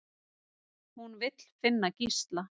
Hún vill finna Gísla.